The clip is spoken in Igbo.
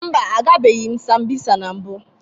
Mba, agabeghị m Sambisa na mbụ